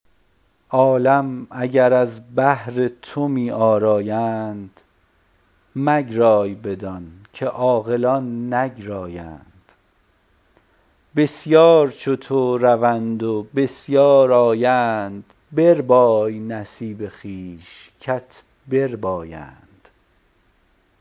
عالم اگر از بهر تو می آرایند مگرای بدان که عاقلان نگرایند بسیار چو تو روند و بسیار آیند بربای نصیب خویش کت بربایند